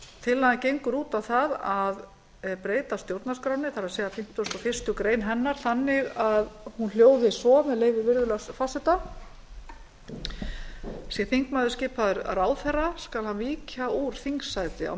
tillagan gengur út á það að breyta fimmtugasta og fyrstu grein stjórnarskrárinnar þannig að hún hljóði svo með leyfi virðulegs forseta sé þingmaður skipaður ráðherra skal hann víkja úr þingsæti á